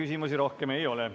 Teile rohkem küsimusi ei ole.